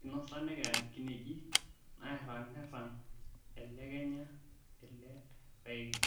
Einosa nekea kineji nairang'irang' elekenya ele paeki